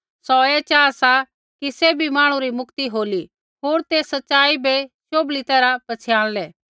सौ ऐ चाहा सा कि सैभी मांहणु री मुक्ति होली होर ते सच़ाई बै शोभली तैरहा पछ़ियाणलै